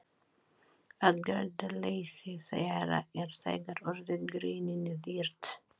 Aðgerðaleysi þeirra er þegar orðið greininni dýrt.